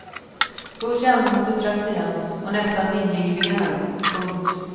Så kände hon sig trött igen och nästan vinglig i benen. punkt